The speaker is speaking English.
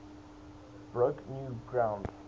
broke new ground